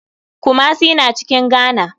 Kumasi na cikin ghana.